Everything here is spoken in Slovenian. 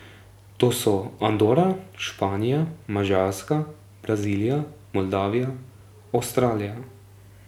To so Andora, Španija, Madžarska, Brazilija, Moldavija, Avstralija...